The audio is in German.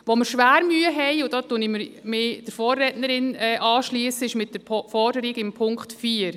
Wo wir schwer Mühe haben, und dabei schliesse ich mich meiner Vorrednerin an, ist mit der Forderung in Punkt 4.